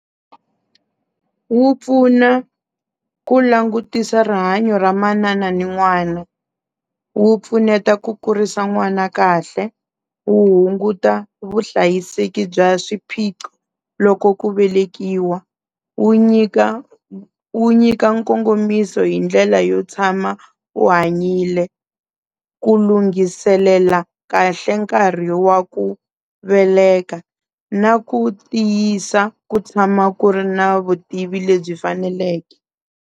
Wu pfuna ku langutisa rihanyo ra manana ni n'wana wu pfuneta ku kurisa n'wana kahle wu hunguta vuhlayiseki bya swiphiqo loko ku velekiwa wu nyika wu nyika nkongomiso hi ndlela yo tshama u hanyile ku lunghiselela kahle nkarhi wa ku veleka na ku tiyisa ku tshama ku ri na vutivi lebyi faneleke.